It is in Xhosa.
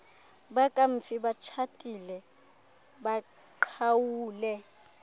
bakamfi batshatile baqhawule